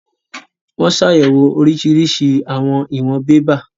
Wọ́n ṣàyẹ̀wò oríṣiríṣi àwọn ìwọn bébà